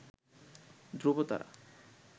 ধ্রুবতারা